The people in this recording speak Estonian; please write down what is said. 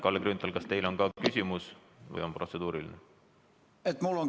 Kalle Grünthal, kas teil on ka küsimus või on protseduuriline?